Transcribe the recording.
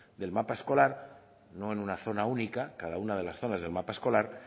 del mapa escolar no en una zona única cada una de las zonas del mapa escolar